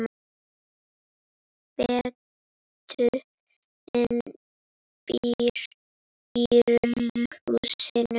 Bretinn býr í rauða húsinu.